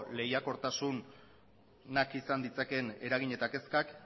lehiakortasunak izan ditzaken eragin eta kezkak